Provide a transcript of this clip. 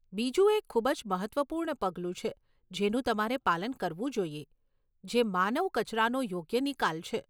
બીજું એક ખૂબ જ મહત્વપૂર્ણ પગલું છે જેનું તમારે પાલન કરવું જોઈએ, જે માનવ કચરાનો યોગ્ય નિકાલ છે.